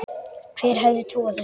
Hver hefði trúað þessu!